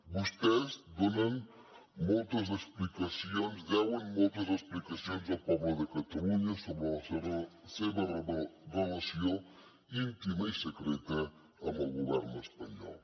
vostès deuen moltes explicacions al poble de catalunya sobre la seva relació íntima i secreta amb el govern espanyol